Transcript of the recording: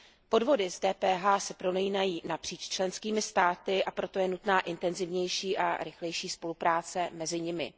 Podvody s DPH se prolínají napříč členskými státy, a proto je nutná intenzivnější a rychlejší spolupráce mezi nimi.